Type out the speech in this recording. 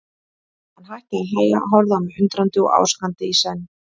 Hann hætti að hlæja, horfði á mig undrandi og ásakandi í senn.